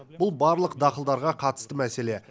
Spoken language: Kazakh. бұл барлық дақылдарға қатысты мәселе